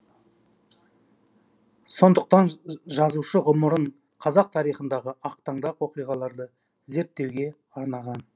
сондықтан жазушы ғұмырын қазақ тарихындағы ақтаңдақ оқиғаларды зерттеуге арнаған